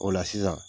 O la sisan